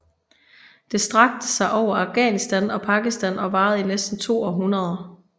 Det strakte sig over Afghanistan og Pakistan og varede i næsten to århundreder